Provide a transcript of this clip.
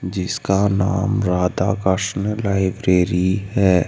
जिसका नाम राधा कष्ण लाइब्रेरी है।